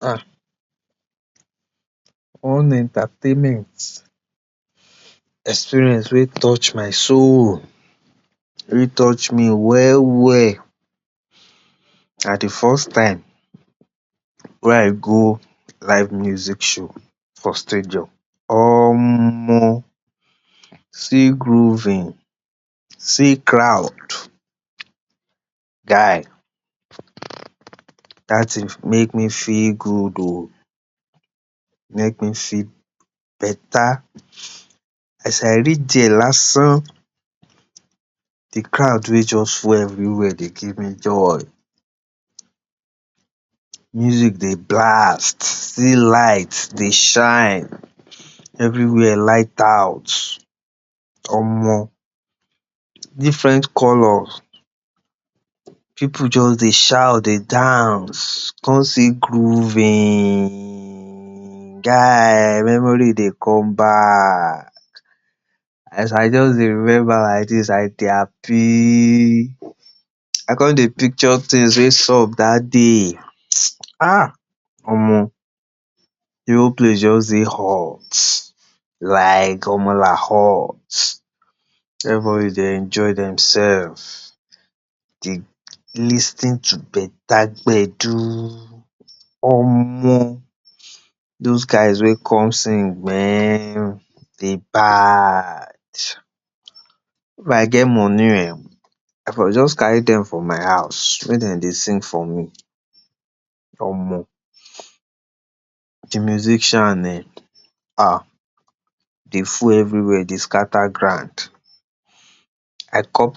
Ah! One entertainment experience wey touch my soul, wey touch me well well na de first time wey I go live music show for stadium. Omo! See grooving. See crowd. Guy! Dat tin make me feel good oh. E make me feel beta. As I reach dia, de crowd wey just full everywhere dey give me joy. Music dey blast. See light dey shine. Everywhere light out Omo! Different colours. Pipu just dey shout, dey dance. Come see grooving. Guy! Memory dey come back. As I just dey remember laidis, I dey happy. I con dey picture tins wey sup dat day. um Omo! De whole place just dey hot. Like, omo hot. Everybody dey enjoy demsef, dey lis ten to beta gbedu. Omo! Those guys wey come sing, mehn, dem bad. If I get money ehn, I for just carry dem for my house, make dem dey sing for me. Omo! De musician[um][um], dem full everywhere, dem scatter ground. I cut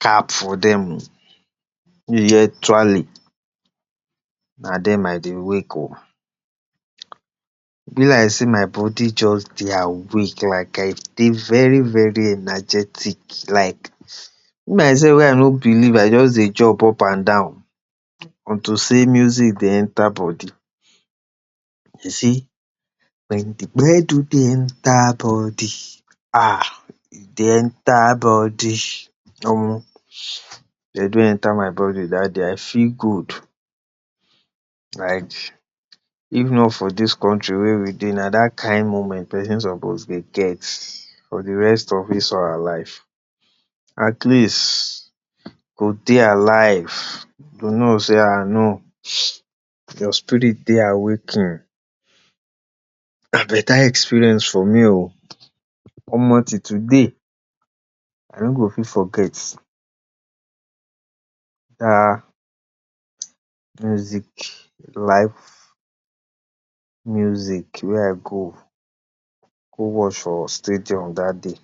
cap for dem oh. If you hear twale, na dem I dey wake oh. E be like sey my body just dey awake, like I dey very very energetic, like. Even mysef wey I no believe, I just dey jump up and down on to sey music dey enter body. You see, wen de gbedu dey enter body um, e dey enter body. Omo! Gbedu enter my body dat day, I feel good. Like, if not for dis country wey we dey, na kain moment pesin suppose dey get for de rest of his or her life. At least, you go dey alive. You go know sey um no, your spirit dey awakened. Na beta experience for me oh. Omo, till today, I no go fit forget dat music, live music wey I go go watch for stadium dat day.